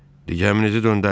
Digərəmizi göndərin.